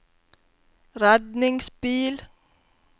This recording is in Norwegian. redningsbil